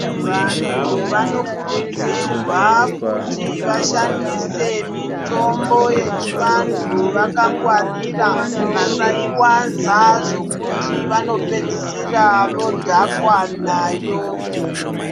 Vantu vanokurudzirwa kuti vashandise mitombo yechivantu vakangwarira. Vasaiwanza zvokuti vanopedzisira vodhakwa nayo.